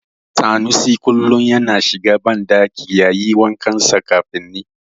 Sanusi kullum yana shiga banɗaki yayi wa kansa kafin ni.